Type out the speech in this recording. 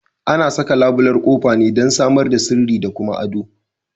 Ana saka labulan kofa ne dan samar da sirri da kuma addo.